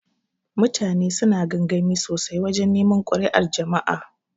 Mutane suna gamgami sosai wajan neman kuri'ar jama'a.